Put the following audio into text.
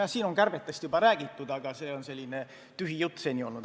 Jah, siin on kärbetest juba räägitud, aga see on selline tühi jutt seni olnud.